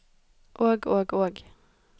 og og og